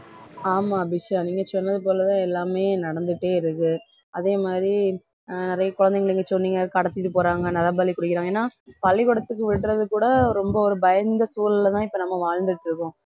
ஆமா அபிஷா நீங்க சொன்னது போலதான் எல்லாமே நடந்துட்டே இருக்கு அதே மாதிரி அஹ் நிறைய குழந்தைகளுக்கு சொன்னீங்க கடத்திட்டு போறாங்க நரபலி கொடுக்குறாங்க ஏன்னா பள்ளிக்கூடத்துக்கு விடுறது கூட ரொம்ப ஒரு பயந்த சூழல்லதான் இப்ப நம்ம வாழ்ந்துட்டு இருக்கோம்